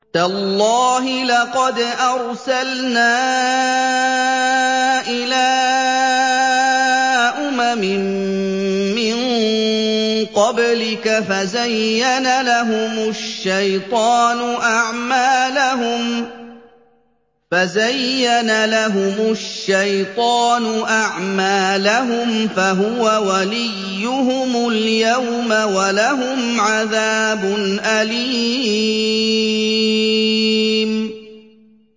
تَاللَّهِ لَقَدْ أَرْسَلْنَا إِلَىٰ أُمَمٍ مِّن قَبْلِكَ فَزَيَّنَ لَهُمُ الشَّيْطَانُ أَعْمَالَهُمْ فَهُوَ وَلِيُّهُمُ الْيَوْمَ وَلَهُمْ عَذَابٌ أَلِيمٌ